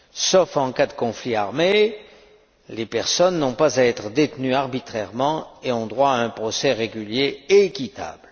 Sauf en cas de conflit armé, les personnes n'ont pas à être détenues arbitrairement et ont droit à un procès régulier et équitable.